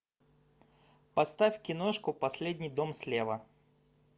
поставь киношку последний дом слева